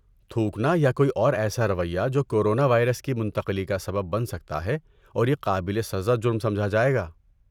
تھوکنا یا کوئی اور ایسا رویہ جو کورونا وائرس کی منتقلی کا سبب بن سکتا ہے اور یہ قابل سزا جرم سمجھا جائے گا۔